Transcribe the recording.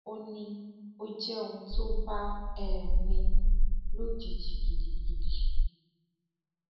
ó ní ó jẹ ohun tó bá um ní lójijì gidigidi